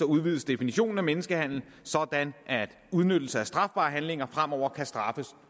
udvides definitionen af menneskehandel sådan at udnyttelse af strafbare handlinger fremover kan straffes